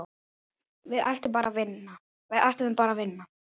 Við ætluðum bara að vinna.